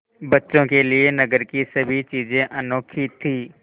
बच्चों के लिए नगर की सभी चीज़ें अनोखी थीं